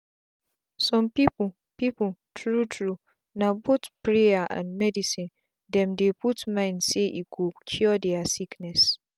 some people people true true na both prayers and medicine them dey put mind saye go cure their sickness.